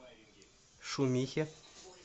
шумихе